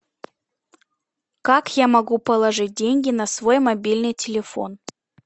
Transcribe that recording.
как я могу положить деньги на свой мобильный телефон